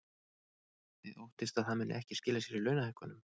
Þið óttist að það muni ekki skila sér í launahækkunum?